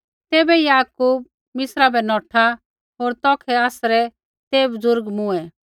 तैबै याकूब मिस्रा बै नौठा होर तौखै आसरै ते बुज़ुर्ग मूँऐ